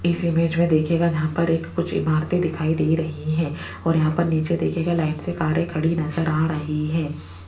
इस इमेज में देखिएगा जहां पर एक कुछ इमारतें दिखाई दे रहीं है और यहां पर नीचे देखिएगा लाइन से कारें कड़ी नजर आ रही है।